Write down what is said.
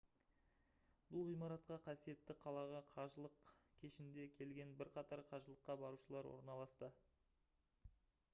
бұл ғимаратқа қасиетті қалаға қажылық кешінде келген бірқатар қажылыққа барушылар орналасты